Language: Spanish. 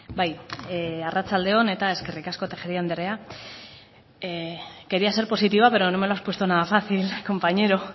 bai arratsalde on eta eskerrik asko tejeria andrea quería ser positiva pero no me lo has puesto nada fácil compañero